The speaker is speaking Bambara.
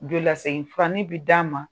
Joli lasegi furanin bɛ d'a ma